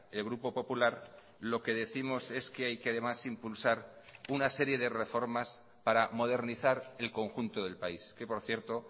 el grupo popular lo que décimos es que hay que además impulsar una serie de reformas para modernizar el conjunto del país que por cierto